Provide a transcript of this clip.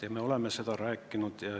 Ja meie ka oleme seda rääkinud.